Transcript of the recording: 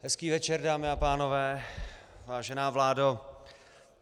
Hezký večer, dámy a pánové, vážená vládo.